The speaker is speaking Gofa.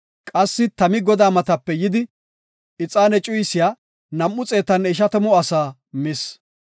Qassi tami Godaa matape yidi ixaane cuyisiya nam7u xeetanne ishatamu asaa mis.